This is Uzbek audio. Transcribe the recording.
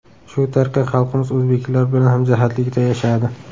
Shu tariqa xalqimiz o‘zbeklar bilan hamjihatlikda yashadi.